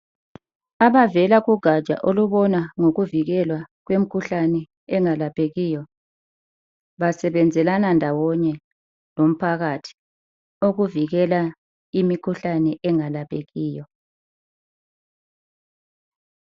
Abavela kugatsha olubona ngokuvikelwa kwemikhuhlane engalaphekiyo basebenzelana ndawonye lomphakathi ukuvikela imikhuhlane engalaphekiyo.